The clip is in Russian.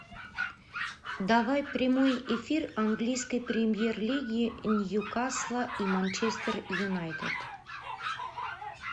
давай прямой эфир английской премьер лиги ньюкасла и манчестер юнайтед